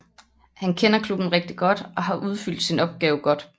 Han kender klubben rigtigt godt og har udfyldt sin opgave godt